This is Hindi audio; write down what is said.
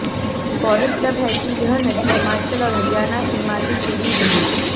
गौरतलब है कि यह नदी हिमाचल और हरियाणा सीमा से जुड़ी हुयी